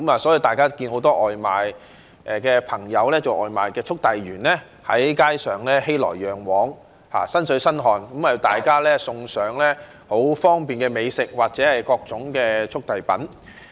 所以，大家看到很多送外賣的朋友、外賣速遞員在街上熙來攘往、"身水身汗"，為大家送上很方便的美食或各種速遞品。